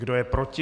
Kdo je proti?